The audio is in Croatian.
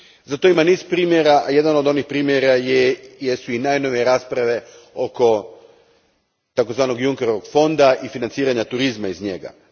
Za to ima niz primjera, jedan od onih primjera jesu i najnovije rasprave oko tzv. Junckerovog fonda i financiranja turizma iz njega.